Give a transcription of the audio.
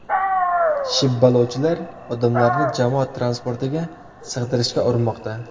Shibbalovchilar odamlarni jamoat transportiga sig‘dirishga urinmoqda.